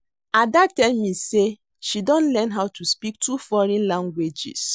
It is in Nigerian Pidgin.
Ada tell me say she don learn how to speak two foreign languages